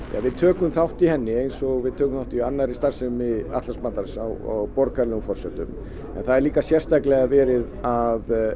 við tökum þátt í henni eins og við tökum þátt í starfsemi Atlantshafsbandalagsins á borgaralegum forsendum en það er líka sérstaklega verið að